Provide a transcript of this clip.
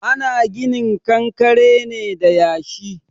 Ana ginin kankare ne da yashi.